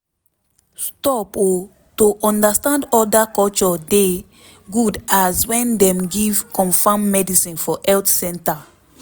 stop o to understand oda culture dey good as wen dem give confam medicine for health canters